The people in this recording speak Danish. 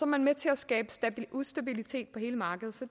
man med til at skabe ustabilitet på hele markedet så